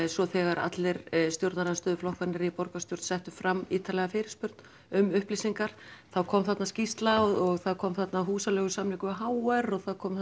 svo þegar allir stjórnarandstöðuflokkarnir í borgarstjórn settu fram ítarlega fyrirspurn um upplýsingar þá kom þarna skýrsla og það kom þarna húsaleigusamningur við h r og það kom